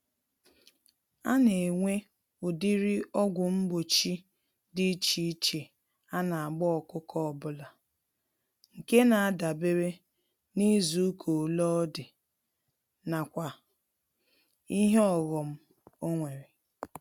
Anenwe ụdịrị ọgwụ mgbochi dị iche iche anagba ọkụkọ ọbula, nke nadabere n'izuka ole ọdị, nakwa ìhè ọghom onwere.